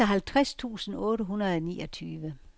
seksoghalvtreds tusind otte hundrede og niogtyve